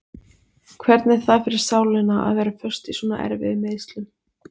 Hvernig er það fyrir sálina að vera föst í svona erfiðum meiðslum?